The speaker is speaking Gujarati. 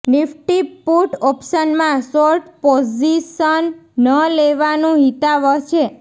નિફ્ટી પુટ ઓપ્શનમાં શોર્ટ પોઝિશન ન લેવાનું હિતાવહ છે